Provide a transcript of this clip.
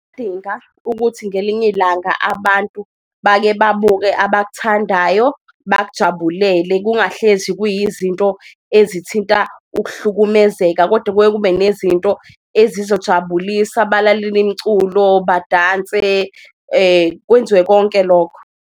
Ukuthi ngelinye ilanga abantu bake babuke abakuthandayo bakujabulele, kungahlezi kuyizinto ezithinta ukuhlukumezeka, koda kuke kube nezinto ezizojabulisa balalele imculo, badanse kwenziwe konke lokho.